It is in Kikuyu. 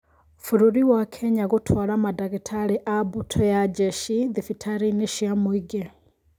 Bũrũri wa Kenya gũtwara mandagĩtarĩ a mbũtũ ya njeshi thibitarĩ-inĩ cia mũingĩ